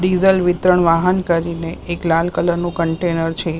Diesel વિતરણ વાહન કરીને એક લાલ કલરનું કન્ટેનર છે.